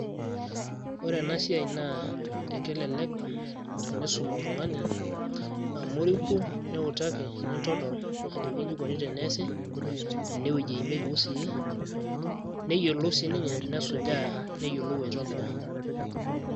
Ore enasiai naa ekelelek teniisum oltung'ani, amu iriki niutaki nintodol ajoki iji koni teneesi, enewueji eimieki usii, neyiolou sininye nesujaa neyiolou aitobira.